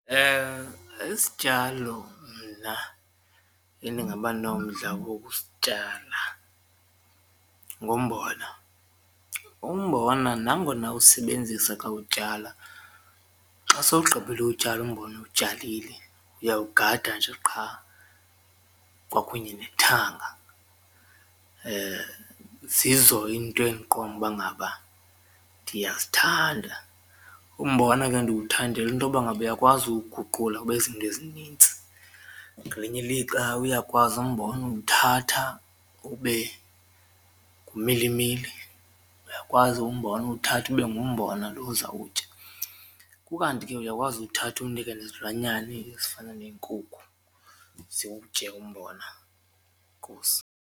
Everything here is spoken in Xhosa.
Isityalo mna endingaba nomdla wokusityala ngumbona, umbona nangona usebenzisa xa utyala xa sowugqibile uwutyala umbona uwutyalile uyawugada nje qha kwakunye nethanga zizo iinto endiqonda uba ngaba ndiyazithanda. Umbona ke ndiwuthandela intoba ngaba uyakwazi uwuguqula ube zinto ezinintsi ngelinye ilixa uyakwazi umbona uwuthatha ube ngumilimili, uyakwazi umbona uwuthathe ube ngumbona loo uzawutya, ukanti ke uyakwazi uwuthatha uwunike nezilwanyana ezifana neenkukhu ziwutye umbona. Enkosi.